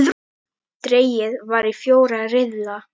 Dregið var í fjóra riðla.